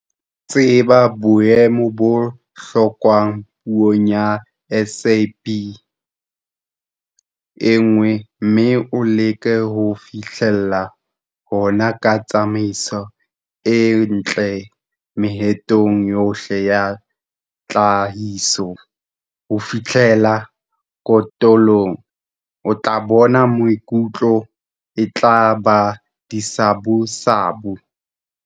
Tseba boemo bo hlokwang peong ya SB1, mme o leke ho fihlella hona ka tsamaiso e ntle mehatong yohle ya tlhahiso ho fihlela kotulong. O tla bona, mekotla e tla ba disabusabu!